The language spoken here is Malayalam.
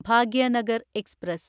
ഭാഗ്യനഗർ എക്സ്പ്രസ്